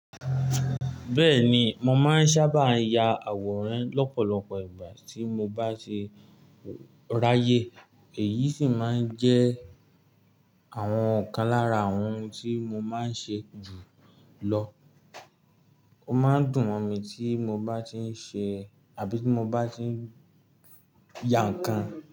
Bẹ́ẹ̀ni, mo máa ń sábà ya àwòrán lọ́pọ̀lọpọ̀ ìgbà tí mo bá ṣe ráyè, èyí sì máa ń jẹ́ àwọn ọ̀kan lára àwọn ohun tí mo máa ń ṣe jù lọ. Ó máa ń dùn mí tí mo bá ti ń ṣe àbí tí mo bá ti ń ya nǹkan.